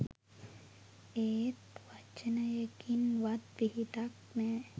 ඒත් වචනයකින්වත් පිහිටක් නෑ.